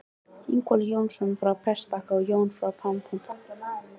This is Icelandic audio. Ingólfur Jónsson frá Prestbakka og Jón frá Pálmholti.